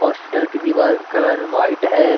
Hospital की दीवार का कलर वाइट है।